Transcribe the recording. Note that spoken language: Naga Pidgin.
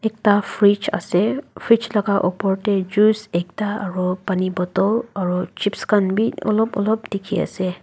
ekta fridge ase fridge laka opor tae juice ekta aru pani bottle aro chips khan bi olop olop dikhiase.